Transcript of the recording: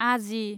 आजि